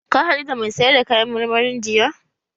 Ka haɗu da mai sayar da kayan marmarin jiya?